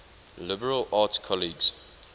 liberal arts colleges